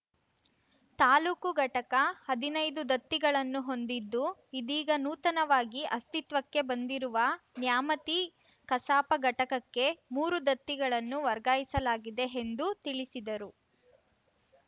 ತಾಲೂಕು ಘಟಕ ಹದಿನೈದು ದತ್ತಿಗಳನ್ನು ಹೊಂದಿದ್ದು ಇದೀಗ ನೂತನವಾಗಿ ಅಸ್ತಿತ್ವಕ್ಕೆ ಬಂದಿರುವ ನ್ಯಾಮತಿ ಕಸಾಪ ಘಟಕಕ್ಕೆ ಮೂರು ದತ್ತಿಗಳನ್ನು ವರ್ಗಾಯಿಸಲಾಗಿದೆ ಎಂದು ತಿಳಿಸಿದರು